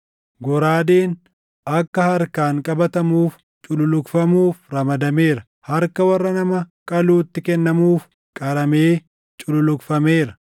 “ ‘Goraadeen akka harkaan qabatamuuf cululuqfamuuf ramadameera; harka warra nama qaluutti kennamuuf qaramee cululuqfameera.